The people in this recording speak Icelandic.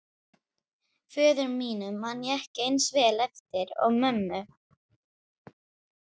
Föður mínum man ég ekki eins vel eftir og mömmu.